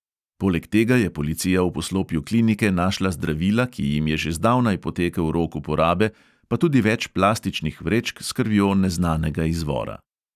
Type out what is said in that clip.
Poleg tega je policija v poslopju klinike našla zdravila, ki jim je že zdavnaj potekel rok uporabe, pa tudi več plastičnih vrečk s krvjo neznanega izvora.